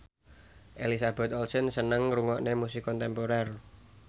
Elizabeth Olsen seneng ngrungokne musik kontemporer